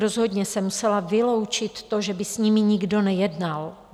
Rozhodně jsem musela vyloučit to, že by s nimi nikdo nejednal.